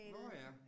Nåh ja